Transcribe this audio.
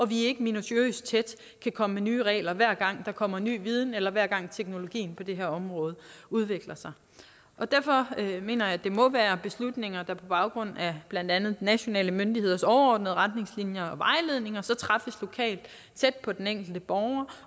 vi ikke minutiøst tæt kan komme med nye regler hver gang der kommer ny viden eller hver gang teknologien på det her område udvikler sig derfor mener jeg det må være beslutninger der på baggrund af blandt andet nationale myndigheders overordnede retningslinjer og vejledninger træffes lokalt tæt på den enkelte borger